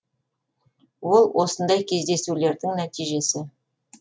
ол осындай кездесулердің нәтижесі